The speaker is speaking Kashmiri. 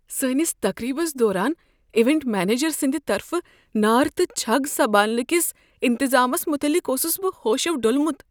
سانس تقریبس دوران ایونٹ منیجر سٕنٛد طرفہٕ نار تہٕ چھگ سمبھالنہٕ کس انتظامس متعلق اوسس بہ ہوشو ڈولمت۔